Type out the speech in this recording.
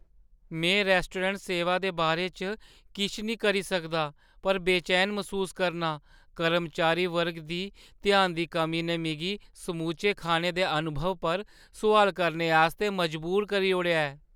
में रैस्टोरैंट सेवा दे बारे च किश करी निं सकदा पर बेचैन मसूस करनां; कर्मचारी वर्ग दी ध्यान दी कमी ने मिगी समूचे खाने दे अनुभव पर सोआल करने आस्तै मजबूर करी ओड़ेआ ऐ।